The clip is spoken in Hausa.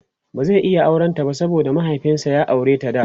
ba zai iya auran ta ba saboda mahiaifinshi ya aureta da